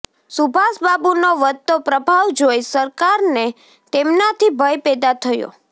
સુભાષબાબુ નો વધતો પ્રભાવ જોઈ સરકાર ને તેમના થી ભય પેદા થયો